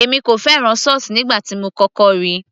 èmi kò fẹ́ràn sauce nígbà tí mo kọ́kọ́ ríi